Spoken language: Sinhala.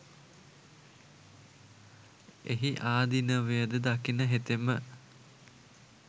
එහි ආදීනවය ද දකින හෙතෙම